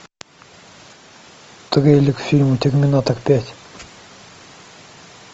трейлер к фильму терминатор пять